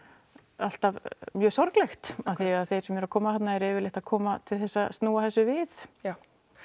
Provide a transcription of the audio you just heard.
alltaf sorglegt því þeir sem eru að koma þarna eru yfirleitt að koma til þess að snúa þessu við já